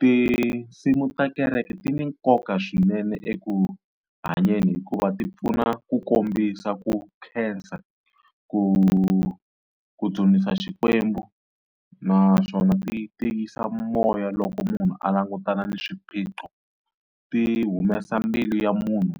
Tinsimu ta kereke ti na nkoka swinene eku hanyeni hikuva ti pfuna ku kombisa ku khensa ku ku dzunisa Xikwembu, naswona ti tiyisa moya loko munhu a langutana na swiphiqo, ti humesa mbilu ya munhu